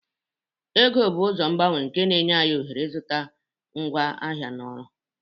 Ego bụ ụzọ ngbanwe nke na-enye anyị ohere ịzụta ngwaahịa na ọrụ.